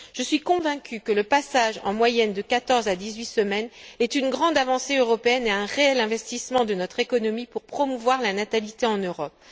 Je suis convaincue que le passage en moyenne de quatorze à dix huit semaines est une grande avancée européenne et un réel investissement de notre économie pour promouvoir la natalité en Europe.